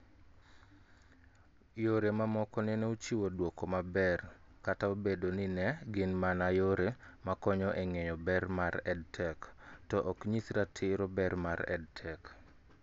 Yore mamoko nene ochiwo dwoko maber kata obedo ni ne gin mana yore makonyo eng'eyo ber mar EdTech, to ok nyis ratiro ber mar EdTech